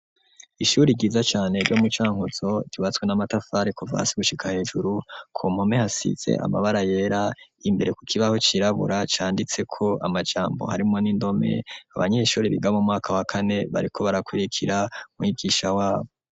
Ishuri ryiza cane ryo mu cankozo riwatswe n'amatafari ku vasi gushika hejuru ku mpome hasize amabara yera imbere ku kibaho cirabura canditse ko amajambo harimwo n'indome abanyeshuri biga mu mwakawakane bariko barakurikira mwigisha wabo.